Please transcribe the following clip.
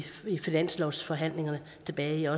finanslovsforhandlingerne tilbage